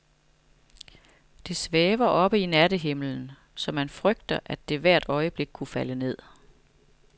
Det svæver oppe i nattehimlen, så man frygter, at det hvert øjeblik kunne falde ned.